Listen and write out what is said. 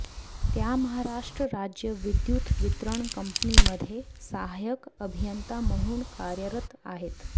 त्या महाराष्ट्र राज्य विद्युत वितरण कंपनीमध्ये सहायक अभियंता म्हणून कार्यरत आहेत